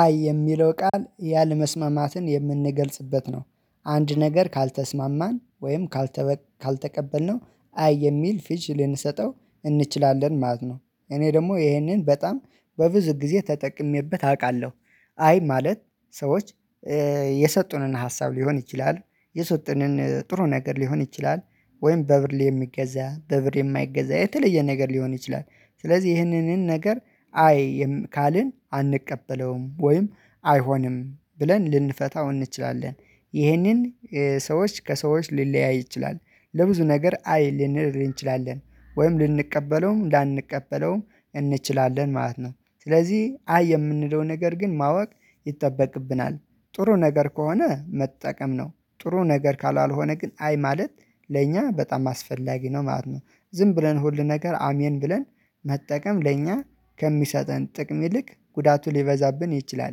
አይ የሚለው ቃል ያለመስማማትን የምንገልጽበት ነው አንድ ነገር ካልተስማማን ወይም ካልተቀበልነው አይ የሚል ፍች ልንሰጠው እንችላለን ማለት ነው። እኔ ደግሞ ይሄንን በጣም በብዙ ጊዜ ተጠቅሜበት አውቃለሁ። አይ ማለት ሰዎች የሰጡንን ሀሳብ ሊሆን ይችላል የሰጡንን ጥሩ ነገር ሊሆን ይችላል ወይም በብር የሚገዛ በብር የማይገዛ የተለየ ነገር ሊሆን ይችላል ስለዚህ ይህንንን ነገር አይ ካልን አንቀበለውም ወይም አይሆንም ብለን ልንፈታው እንችላለን። ይህንን ሰዎች ከሰዎች ሊለያይ ይችላል ለብዙ ነገር አይ ልንል እንችላል ወይም ልንቀበለውም ላንቀበለውም እንችላለን ማለት ነው ስለዚህ አይ የምንለው ነገር ግን ማወቅ ይጠበቅብናል። ጥሩ ነገር ከሆነ መጠቀም ነው ጥሩ ነገር ካላልሆነ ግን አይ ማለት ለእኛ በጣም አስፈላጊ ነው ማለት ነው። ዝም ብለን ሁል ነገር አሜን ብለን መጠቀም ለእኛ ከሚሰጠን ጥቅም ይልቅ ጉዳቱ ሊበዛብን ይችላል።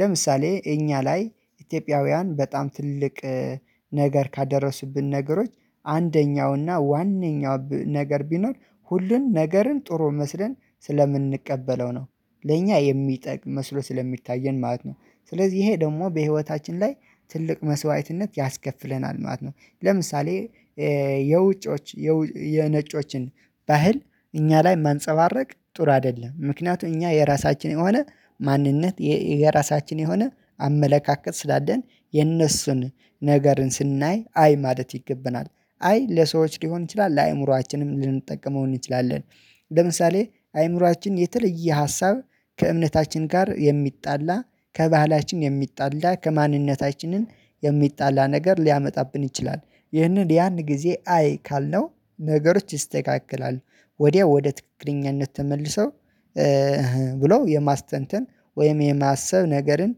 ለምሳሌ እኛ ላይ ኢትዮጵያውያን በጣም ትልቅ ነገር ካደረሱብን ነገሮች አንደኛውና ዋነኛው ነገር ቢኖር ሁሉን ነገርን ጥሩ መስለን ስለምንቀበለው ነው ለእኛ የሚጠቅ መስሎ ስለሚታየን ማለት ነው። ስለዚህ ይሄ ደግሞ በህይወታችን ላይ ትልቅ መስዋዕትነት ያስከፍለናል ማለት ነው። ለምሳሌ የውጮች የነጮችን ባህል እኛ ላይ ማንፀባረቅ ጥሩ አይደለም ምክንያቱም እኛ የራሳችን የሆነ ማንነት የራሳችን የሆነ አመለካከት ስላለን የነሱን ነገርን ስናይ አይ ማለት ይገባናል አይ ለሰዎች ሊሆን ይችላል ለአእምሮአችንም ልንጠቀመው እንችላለን። ለምሳሌ አእይምሮአችን የተለየ ሀሳብ ከእምነታችን ጋር የሚጣላ ከባህላችን የሚጣላ ከማንነታችንን የሚጣላ ነገር ሊያመጣብን ይችላል ይህንን ያን ጊዜ አይ ካልነው ነገሮች ይስተካከላሉ ወዲያው ወደ ትክክለኛነት ተመልሰው ብለው የማስተንተን ወይም የማሰብ ነገርን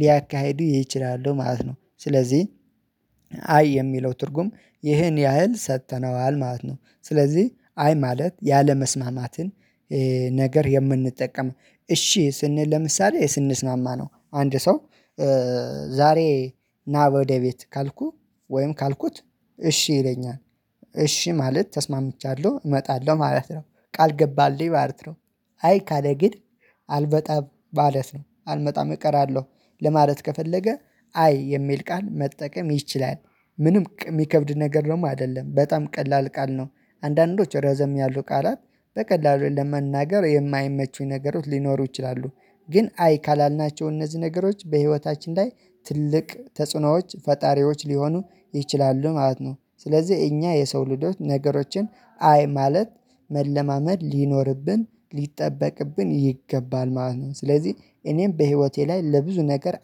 ሊያካሂዱ ይችላሉ ማለት ነው። ስለዚህ አይ የሚለው ትርጉም ይህን ያህል ሰጥተነዋል ማለት ነው። ስለዚህ አይ ማለት ያለመስማማትን ነገር የምንጠቀም እሺ ስንል ለምሳሌ ስንስማማ ነው አንድ ሰው ዛሬ ና በወደ ቤት ካልኩ ወይም ካልኩት እሺ ይለኛል እሺ ማለት ተስማምቻለሁ እመጣለሁ ማለት ነው ቃል ገባልኝ ማለት ነው። አይ ካለ ግን አልመጣም ማለት ነው አልመጣም እቀራለሁ ለማለት ከፈለገ አይ የሚል ቃል መጠቀም ይችላል ምንም የሚከብድ ነገር ደግሞ ነው አይደለም በጣም ቀላል ቃል ነው። አንዳንዶች ረዘም ያሉ ቃላት በቀላሉ ለመናገር የማይመቹኝ ነገሮች ሊኖሩ ይችላሉ ግን አይ ካላልናቸው እነዚህ ነገሮች በህይወታችን ላይ ትልቅ ተጽዕኖዎች ፈጣሪዎች ሊሆኑ ይችላሉ ማለት ነው። ስለዚህ እኛ የሰው ልጆት ነገሮችን አይ ማለት መለማመድ ሊኖርብን ሊጠበቅብን ይገባል ማለት ነው። ስለዚህ እኔም በህይወቴ ላይ ለብዙ ነገር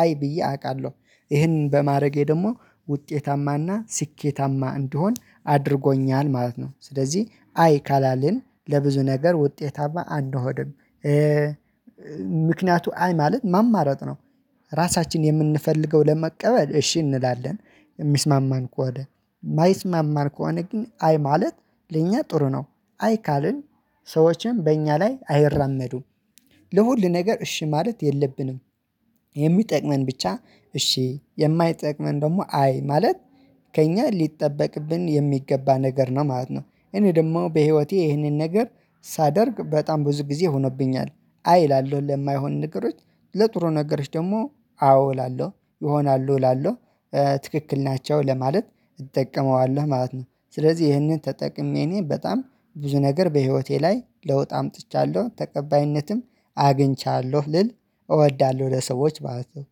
አይ ብዬ አውቃለሁ ይህንን በማድረጌ ደግሞ ውጤታማና ስኬታማ እንድሆን አድርጎኛል ማለት ነው። ስለዚህ አይ ካላልን ለብዙ ነገር ውጤታማ አንሆንም ምክንያቱ አይ ማለት ማማረጥ ነው። ራሳችን የምንፈልገው ለመቀበል እሺ እንላለን የሚስማማን ከሆነ የማይስማማን ከወደ ግን አይ ማለት ለኛ ጥሩ ነው አይ ካልን ሰዎችን በእኛ ላይ አይራመዱም ለሁሉ ነገር እሺ ማለት የለብንም የሚጠቅመን ብቻ እሺ የማይጠቅመን ደግሞ አይ ማለት ከእኛ ሊጠበቅብን የሚገባ ነገር ነው ማለት ነው። እኔ ደግሞ በህይወቴ ይህንን ነገር ሳደርግ በጣም ብዙ ጊዜ ሆኖብኛል አይ እላለሁ ለማይሆን ነገሮች ለጥሩ ነገሮች ደግሞ አዎ እላለሁ ይሆናሉ እላለሁ ትክክል ናቸው ለማለት እጠቀመዋለሁ ማለት ነው። ስለዚህ ይህንን ተጠቅሜ እኔ በጣም ብዙ ነገር በህይወቴ ላይ ለውጥ አምጥቻለሁ ተቀባይነትም አግኝቻለሁ ልል እወዳለሁ ለሰዎች ማለት ነው።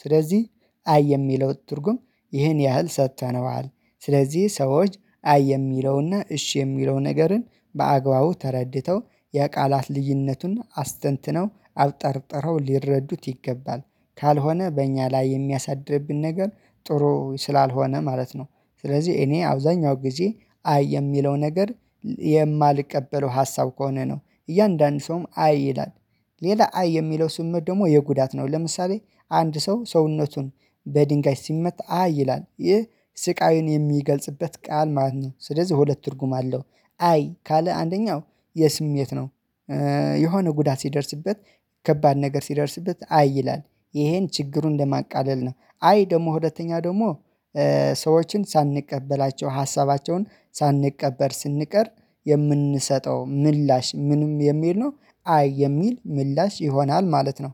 ስለዚህ አይ የሚለው ትርጉም ይህን ያህል ሰጥተነዋል ስለዚህ ሰዎች አይ የሚለውና እሺ የሚለው ነገርን በአግባቡ ተረድተው የቃላት ልዩነቱን አስተንትነው አብጠርጥረው ሊረዱት ይገባል። ካልሆነ በእኛ ላይ የሚያሳድርብን ነገር ጥሩ ስላልሆነ ማለት ነው። ስለዚህ እኔ አብዛኛው ጊዜ አይ የሚለው ነገር የማልቀበለው ሀሳብ ከሆነ ነው እያንዳንዱ ሰውም አይ ይላል ሌላ አይ የሚለው ስሜት ደግሞ የጉዳት ነው ለምሳሌ አንድ ሰው ሰውነቱን በድንጋይ ሲመታ አይ ይላል ይህ ስቃዩን የሚገልጽበት ቃል ማለት ነው ስለዚህ ሁለት ትርጉም አለው። አይ ካለ አንደኛው የስሜት ነው የሆነ ጉዳት ሲደርስበት ከባድ ነገር ሲደርስበት አይ ይላል ይሄን ችግሩን ለማቃለል ነው አይ ደግሞ ሁለተኛ ደግሞ ሰዎችን ሳንቀበላቸው ሀሳባቸውን ሳንቀበል ስንቀር የምንሰጠው ምላሽ ምንም የሚል ነው አይ የሚል ምላሽ ይሆናል ማለት ነው